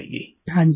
प्रेम जी हाँ जी